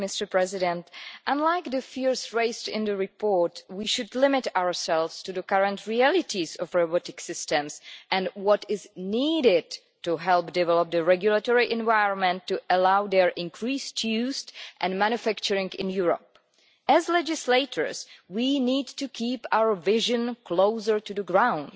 Mr President, unlike the fears raised in the report, we should limit ourselves to the current realities of robotic systems and what is needed to help develop the regulatory environment to allow their increased used and manufacturing in Europe. As legislators we need to keep our vision closer to the ground.